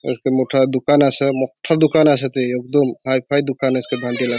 एक मोठा दुकान अस मोठा दुकान असे ते कदम हाईफाई दुकान अस बांधील.